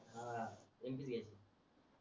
empty च घेयचे